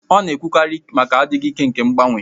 Ọ na-ekwukarị banyere adịghị ike nke mgbanwe